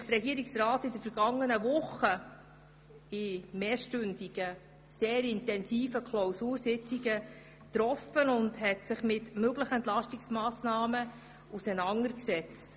Deshalb hat sich der Regierungsrat in mehrstündigen, sehr intensiven Klausursitzungen mit möglichen Entlastungsmassnahmen auseinandergesetzt.